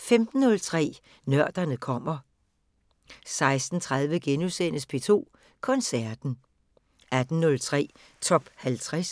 15:03: Nørderne kommer 16:30: P2 Koncerten * 18:03: TOP 50